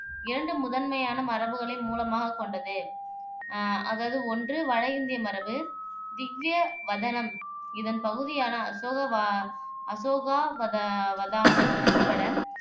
இரண்டு முதன்மையான மரபுகளை மூலமாகக் கொண்டது அதாவது ஒன்று வட இந்திய மரப திவ்வியவதனம் இதன் பகுதியான அசோகவ அசோகாவத வதானம் உட்பட